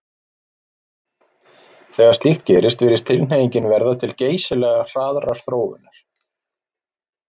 Þegar slíkt gerist virðist tilhneigingin verða til geysilega hraðrar þróunar.